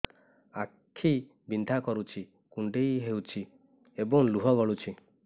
ଆଖି ବିନ୍ଧା କରୁଛି କୁଣ୍ଡେଇ ହେଉଛି ଏବଂ ଲୁହ ଗଳୁଛି